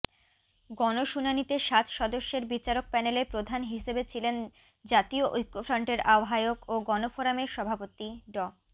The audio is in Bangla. গণশুনানিতে সাত সদস্যের বিচারক প্যানেলে প্রধান হিসেবে ছিলেন জাতীয় ঐক্যফ্রন্টের আহ্বায়ক ও গণফোরামের সভাপতি ড